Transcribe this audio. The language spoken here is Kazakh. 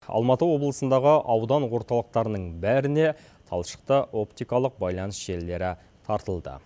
алматы облысындағы аудан орталықтарының бәріне талшықты оптикалық байланыс желілері тартылды